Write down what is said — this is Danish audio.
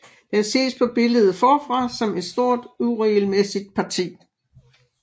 Den ses på billedet forfra som et stort uregelmæssigt parti